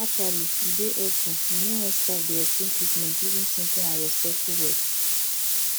actually e dey hepful you no wen staf dey explain treatment using simple and respectful words